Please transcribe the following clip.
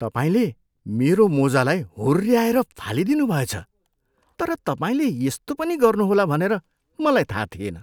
तपाईँले मेरो मोजालाई हुर्ऱ्याएर फ्यालिदिनुभएछ तर तपाईँले यस्तो पनि गर्नुहोला भनेर मलाई थाहा थिएन।